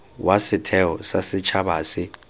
wa setheo sa setšhaba se